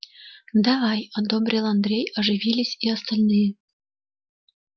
давай одобрил андрей оживились и остальные